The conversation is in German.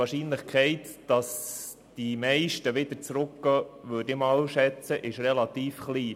Die Wahrscheinlichkeit, dass sie wieder zurückkehren, ist nach meiner Einschätzung relativ klein.